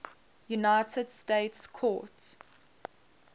united states court